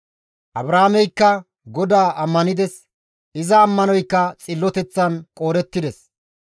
Abraameykka GODAA ammanides; iza ammanoykka Xilloteththan qoodettides.